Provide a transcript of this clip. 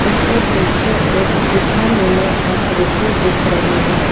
उसके पीछे एक गुफा नुमा आकृति दिख रही है।